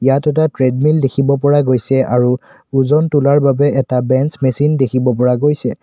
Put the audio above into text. ইয়াত এটা ট্ৰেডমিল দেখিব পৰা গৈছে আৰু এই ওজন তোলাৰ বাবে এটা বেঞ্চ মেচিন দেখিব পৰা গৈছে।